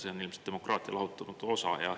See on ilmselt demokraatia lahutamatu osa.